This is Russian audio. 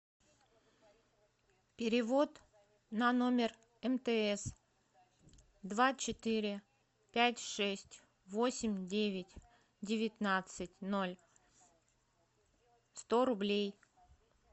перевод на номер мтс два четыре пять шесть восемь девять девятнадцать ноль сто рублей